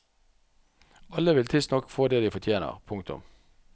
Alle vil tidsnok få det de fortjener. punktum